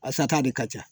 A sata de ka ca